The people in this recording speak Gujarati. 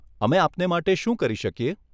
અમે આપને માટે શું કરી શકીએ?